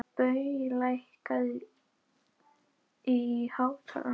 Baui, lækkaðu í hátalaranum.